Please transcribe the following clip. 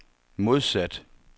modsat